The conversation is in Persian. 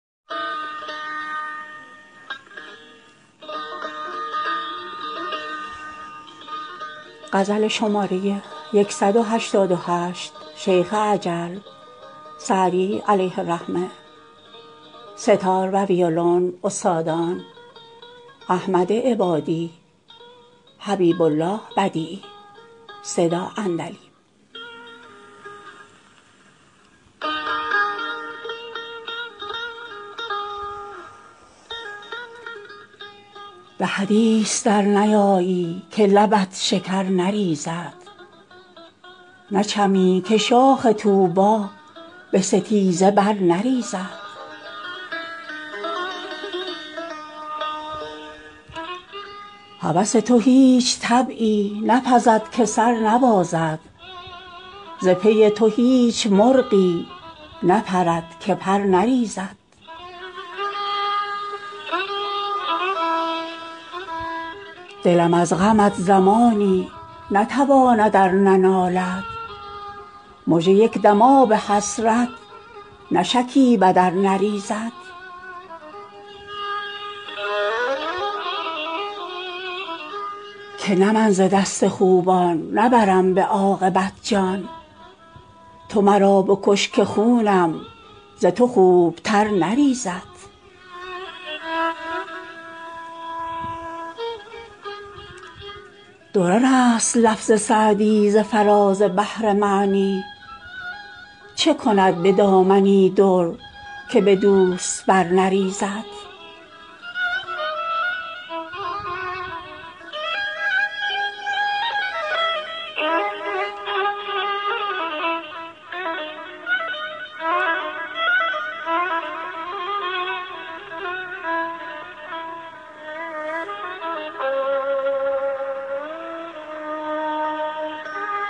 به حدیث در نیایی که لبت شکر نریزد نچمی که شاخ طوبی به ستیزه بر نریزد هوس تو هیچ طبعی نپزد که سر نبازد ز پی تو هیچ مرغی نپرد که پر نریزد دلم از غمت زمانی نتواند ار ننالد مژه یک دم آب حسرت نشکیبد ار نریزد که نه من ز دست خوبان نبرم به عاقبت جان تو مرا بکش که خونم ز تو خوبتر نریزد درر است لفظ سعدی ز فراز بحر معنی چه کند به دامنی در که به دوست بر نریزد